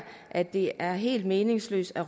at det er helt meningsløst at